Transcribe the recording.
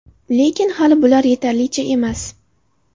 Lekin, hali bular yetarlicha emas.